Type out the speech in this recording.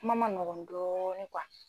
Kuma man nɔgɔ dɔɔni